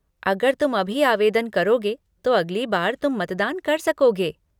अगर तुम अभी आवेदन करोगे तो अगली बार तुम मतदान कर सकोगे।